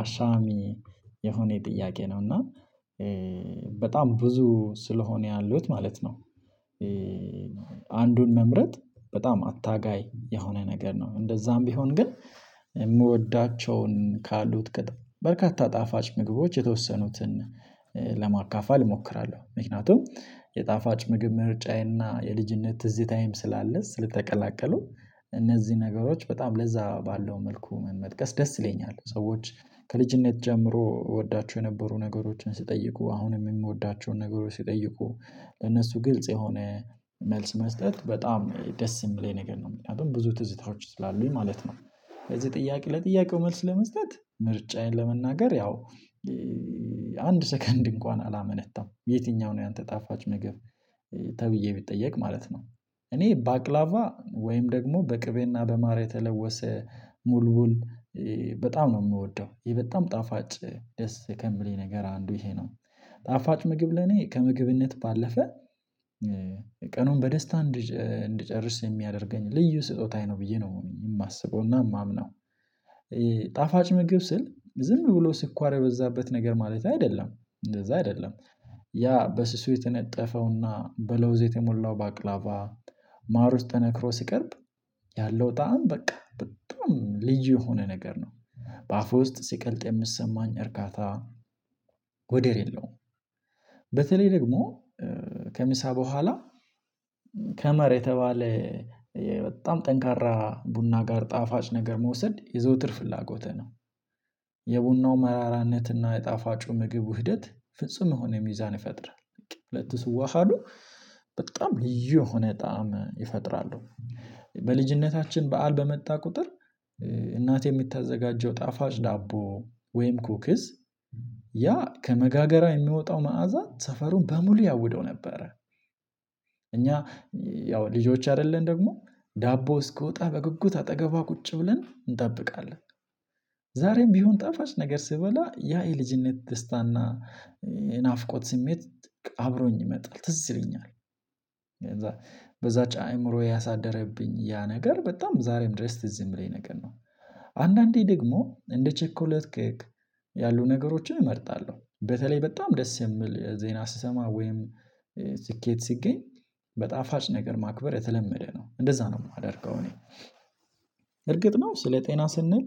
አሻሚ የሆነ የጥያቄ ነው እና በጣም ብዙ ስለሆነ ያሉት ማለት ነው። አንዱን መምረጥ በጣም አታጋይ የሆነ ነገር ነው። እንደዛም ቢሆን ግን የምወዳቸውን ካሉት በርካታ ጣፋጭ ምግቦች የተወሰኑትን ለማካፋል እሞክራለሁ። ምክንያቱም የጣፋጭ ምግብ ምርጫዬና የልጅነት ትዝታዬም ስላለ ስለተቀላቀሉ እነዚህ ነገሮች በጣም ለዛ ባለው መልኩ መመጥቀስ ደስ ይለኛል። ሰዎች ከልጅነት ጀምሮ እወዳቸው የነበሩ ነገሮችን ሲጠይቁ አሁንም የምወዳቸውን ነገሮች ሲጠይቁ ለነሱ ግልጽ የሆነ መልስ መስጠት በጣም ደስ የሚለኝ ነገር ነው። ምክንያቱም ብዙ ትዝታዎች ስላሉኝ ማለት ነው። ለዚህ ጥያቄ ለጥያቄው መልስ ለመስጠት ምርጫዬን ለመናገር ያው አንድ ሰከንድ እንኳን አላመነታም "የትኛው ነው ያንተ ጣፋጭ ምግብ?" ተብዬ ቢጠየቅ ማለት ነው። እኔ ባቅላቫ ወይም ደግሞ በቅቤና በማር የተለወሰ ሙሉ በጣም ነው የምወደው። ይሄ በጣም ጣፋጭ ደስ ከሚለኝ ነገር አንዱ ይሄ ነው። ጣፋጭ ምግብ ለኔ ከምግብነት ባለፈ ቀኑን በደስታ እንድጨ እንድጨርስ የሚያደርገኝ ልዩ ስጦታዬ ነው ብዬ ነው የማስበውና የማምነው። ጣፋጭ ምግብ ስል ዝም ብሎ ስኳር የበዛበት ነገር ማለቴ አይደለም እንደዛ አይደለም ያ በስሱ የተነጠፈውና በለውዝ የተሞላው ባቅላባ ማር ውስጥ ተነክሮ ሲቀርብ ያለው ጣዕም በቃ በጣም ልዩ የሆነ ነገር ነው። በአፍህ ውስጥ ሲቀልጥ የሚሰማኝ እርካታ ወደር የለውም። በተለይ ደግሞ ከምሳ በኋላ ከመር የተባለ በጣም ጠንካራ ቡና ጋር ጣፋጭ ነገር መውሰድ የዘውትር ፍላጎቴ ነው። የቡናው መራራነትና የጣፋጩ ምግብ ውህደት ፍጹም የሆነ ሚዛን ይፈጥራል። ሁለቱ ሲዋሃዱ በጣም ልዩ የሆነ ጣዕም ይፈጥራሉ። በልጅነታችን በዓል በመጣ ቁጥር እናቴ የምታዘጋጀው ጣፋጭ ዳቦ ወይም ኩክስ ያ ከመጋገሪያው የሚወጣው መዓዛ ሰፈሩን በሙሉ ያውደው ነበረ። እኛ ያው ልጆች አይደለን ደግሞ ዳቦ እስኪወጣ በጉጉት አጠገቧ ቁጭ ብለን እንጠብቃለን። ዛሬም ቢሆን ጣፋች ነገር ስበላ ያ የልጅነት ደስታና የናፍቆት ስሜት አብሮኝ ይመጣል ትዝ ይለኛል። ከዛ በዛች አእምሮ ያሳደረብኝ ያ ነገር በጣም ዛሬም ድረስ ትዝ የሚለኝ ነገር ነው። አንዳንዴ ደግሞ እንደ ቼኮሌት ኬክ ያሉ ነገሮችን እመርጣለሁ። በተለይ በጣም ደስ የምል ዜና ስሰማ ወይም ስኬት ሲገኝ በጣፋጭ ነገር ማክበር የተለመደ ነው፤ እንደዛ ነው የማደርገው እኔ። እርግጥ ነው ስለ ጤና ስንል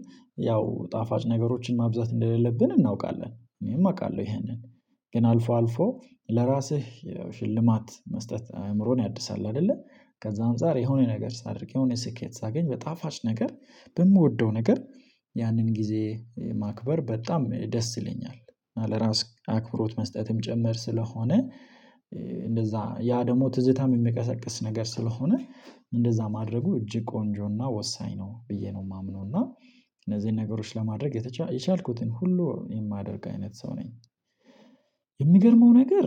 ያው ጣፋጭ ነገሮችን ማብዛት እንደሌለብን እናውቃለን። እኔም አውቃለሁ ይሄንን። ግን አልፎ አልፎ ለራስህ ያው ሽልማት መስጠት አእምሮን ያድሳል አይደለ ከዛ አንፃር የሆነ ነገር ሳደርግ የሆነ ስኬት ሳገኝ በጣፋጭ ነገር በምወደው ነገር ያንን ጊዜ ማክበር በጣም ደስ ይለኛል፤ እና ለራስ አክብሮት መስጠትም ጭምር ስለሆነ እንደዛ ያ ደግሞ ትዝታም የሚቀሰቅስ ነገር ስለሆነ እንደዛ ማድረጉ እጅግ ቆንጆና ወሳኝ ነው ብዬ ነው የማምነው፤ እና እነዚህን ነገሮች ለማድረግ የተቻ የቻልኩትን ሁሉ የማደርግ አይነት ሰው ነኝ። የሚገርመው ነገር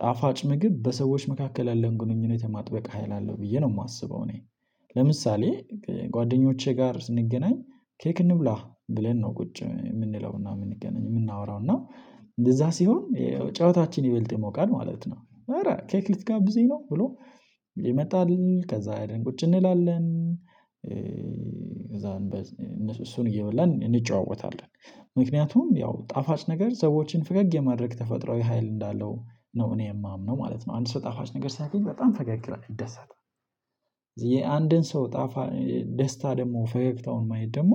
ጣፋጭ ምግብ በሰዎች መካከል ያለውን ግንኙነት የማጥበቅ ሀይል አለው ብዬ ነው የማስበው እኔ። ለምሳሌ ጓደኞቼ ጋር ስንገናኝ ኬክ እንብላ ብለን ነው ቁጭ የምንለውና የምንገናኝ የምናወራው እና እንደዛ ሲሆን ጨዋታችን ይበልጥ የሞቃል ማለት ነው "ኧረ ኬክ ልትጋብዘኝ ነው" ብሎ ይመጣል። ከዛ ሄደን ቁጭ እንላለን። ክዛ እነ እሱን እየበላን እንጨዋወታለን። ምክንያቱም ያው ጣፋጭ ነገር ሰዎችን ፈገግ የማድረግ ተፈጥሯዊ ሀይል እንዳለው ነው እኔ የማምነው ማለት ነው። አንድ ሰው ጣፋጭ ነገር ሲያገኝ በጣም ፈገግ ይላል ይደሰታል። የአንድን ሰው ጣፋ ደስታ ደግሞ ፈገግታውን ማየት ደግሞ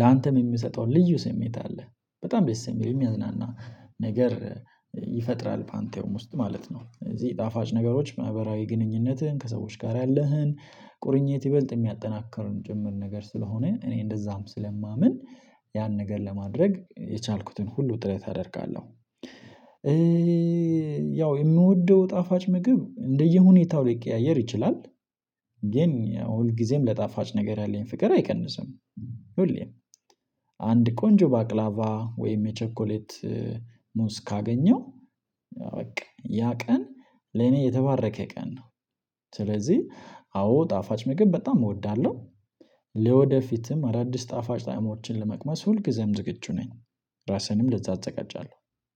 ላንተም የሚሰጠው ልዩ ስሜት አለ። በጣም ደስ የሚል የሚያዝናና ነገር ይፈጥራል ባንተም ውስጥ ማለት ነው። ስለዚህ ጣፋጭ ነገሮች ማህበራዊ ግንኙነትህን ከሰዎች ጋር ያለህን ቁርኝት ይበልጥ የሚያጠናክርም ጭምር ነገር ስለሆነ እኔ እንደዛም ስለማምን ያን ነገር ለማድረግ የቻልኩትን ሁሉ ጥረት አደርጋለሁ። ያው የምወደው ጣፋጭ ምግብ እንደየሁኔታው ሊቀያየር ይችላል። ግን ያው ሁልጊዜም ለጣፋጭ ነገር ያለኝ ፍቅር አይቀንስም ሁሌም። አንድ ቆንጆ ባቅላባ ወይም የቸኮሌት ሙዝ ካገኘው በቃ ያ ቀን ለኔ የተባረከ ቀን ነው። ስለዚህ አዎ ጣፋጭ ምግብ በጣም እወዳለሁ። ለወደፊትም አዳዲስ ጣፋጭ ጣዕሞችን ለመቅመስ ሁልጊዜም ዝግጁ ነኝ። ራሴንም ለዛ አዛጋጃለሁ።